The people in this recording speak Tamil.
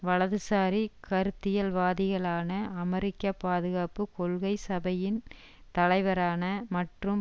வலதுசாரி கருத்தியல்வாதிகளான அமெரிக்க பாதுகாப்பு கொள்கை சபையின் தலைவரான மற்றும்